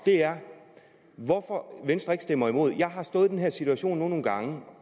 er hvorfor venstre ikke stemmer imod jeg har nu stået i den her situation nogle gange